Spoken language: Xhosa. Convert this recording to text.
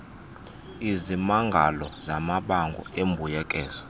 izimangalo zamabango embuyekezo